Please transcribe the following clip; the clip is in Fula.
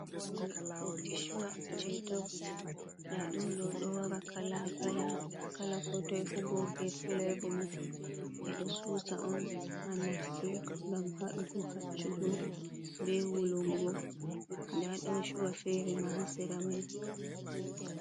Urdi shuwa je dov nda ɗum ɗo, ɗo wara kala ko toe fu bog be flevomon ɓeɗo susa on ha nafki gam haɗugo haccugo be wulungo nda ɗon chuwa fere ma ha siramai.